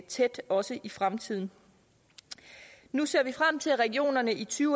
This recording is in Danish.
tæt også i fremtiden nu ser vi frem til at regionerne i to